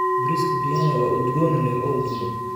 Bariiska biriyaani waa udgoon leh oo udgoon.